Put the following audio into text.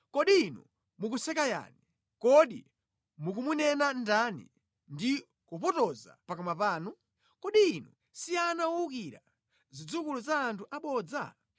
Kodi inu mukuseka yani? Kodi mukumunena ndani ndi kupotoza pakamwa panu? Kodi inu si ana owukira, zidzukulu za anthu abodza?